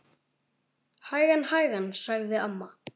Hægan, hægan sagði amma.